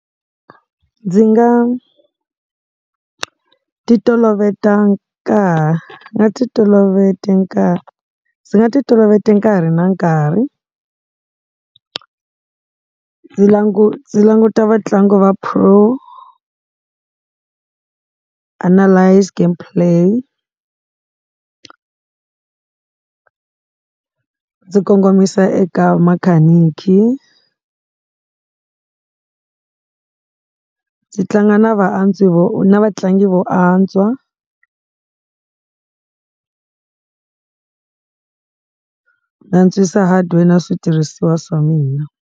Ndzi nga titoloveta ka ndzi nga titoloveta nkarhi ndzi nga titoloveti nkarhi na nkarhi ndzi languta vatlangi va pro-analyse game play ndzi kongomisa eka makhaniki. Ndzi tlanga na va vatlangi vo antswa, ni antswisa hardware na switirhisiwa swa mina.